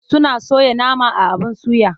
Suna soya nama a abin suya.